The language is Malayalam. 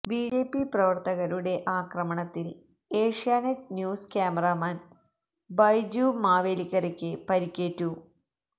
ബിജെപി പ്രവര്ത്തകരുടെ ആക്രമണത്തില് ഏഷ്യാനെറ്റ് ന്യൂസ് ക്യാമറാമാന് ബൈജു മാവേലിക്കരയ്ക്ക് പരിക്കേറ്റു